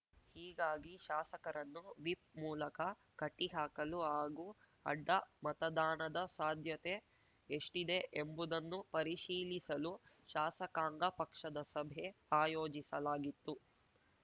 ಹೀಗಾಗಿ ಶಾಸಕರನ್ನು ವಿಪ್‌ ಮೂಲಕ ಕಟ್ಟಿಹಾಕಲು ಹಾಗೂ ಅಡ್ಡ ಮತದಾನದ ಸಾಧ್ಯತೆ ಎಷ್ಟಿದೆ ಎಂಬುದನ್ನು ಪರಿಶೀಲಿಸಲು ಶಾಸಕಾಂಗ ಪಕ್ಷದ ಸಭೆ ಆಯೋಜಿಸಲಾಗಿತ್ತು